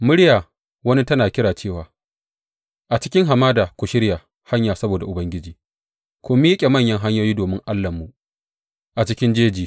Muryar wani tana kira cewa, A cikin hamada ku shirya hanya saboda Ubangiji; ku miƙe manyan hanyoyi domin Allahnmu a cikin jeji.